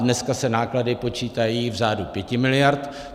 Dneska se náklady počítají v řádu 5 miliard.